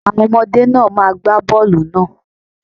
Àwọn ọmọdé náà má gba bọ́ọlù náà.